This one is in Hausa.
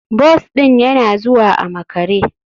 Bus ɗin yana zuwa a makare.